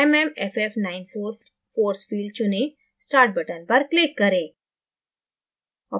mmff94 force field चुनें start button पर click करें